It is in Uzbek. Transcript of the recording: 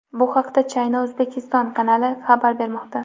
Bu haqda China-Uzbekistan kanali xabar bermoqda .